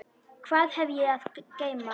Hvað hef ég að geyma?